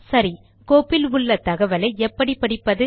சரி கோப்பில் உள்ள தகவலை எப்படி படிப்பது